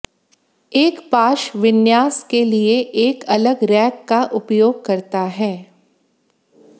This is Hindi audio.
एक पाश विन्यास के लिए एक अलग रैक का उपयोग करता है